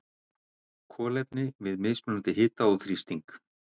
Kolefni við mismunandi hita og þrýsting.